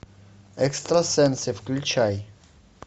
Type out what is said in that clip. экстрасенсы включай